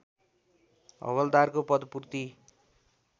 हवल्दारको पदपूर्ति